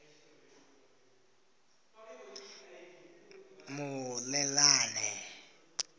muleḓane